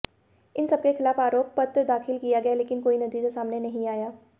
इन सबके खिलाफ आरोप पत्र दाखिल किया गया लेकिन कोई नतीजा सामने नहीं आया